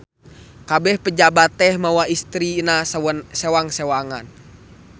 Kabeh pejabat teh mawa istrina sewang-sewangan.